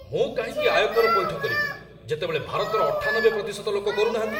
ମୁଁ କାହିଁକି ଆୟକର ପଇଠ କରିବି ଯେତେବେଳେ ଭାରତର ୯୮% ଲୋକ କରୁ ନାହାନ୍ତି?